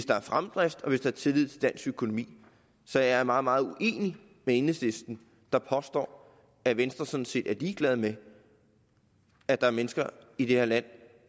der er fremdrift og hvis der er tillid til dansk økonomi så jeg er meget meget uenig med enhedslisten der påstår at venstre sådan set er ligeglad med at der er mennesker i det her land